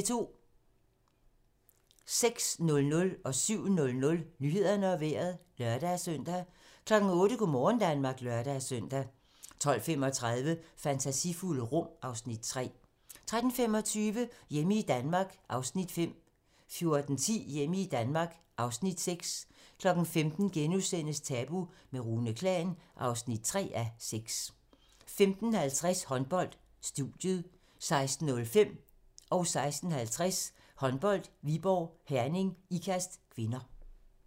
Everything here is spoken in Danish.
06:00: Nyhederne og Vejret (lør-søn) 07:00: Nyhederne og Vejret (lør-søn) 08:00: Go' morgen Danmark (lør-søn) 12:35: Fantasifulde rum (Afs. 3) 13:25: Hjemme i Danmark (Afs. 5) 14:10: Hjemme i Danmark (Afs. 6) 15:00: Tabu - med Rune Klan (3:6)* 15:50: Håndbold: Studiet 16:05: Håndbold: Viborg - Herning-Ikast (k) 16:50: Håndbold: Viborg - Herning-Ikast (k)